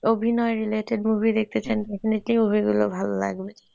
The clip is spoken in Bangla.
অভিনয় related movie দেখতে চান গুলো ভালো লাগবে।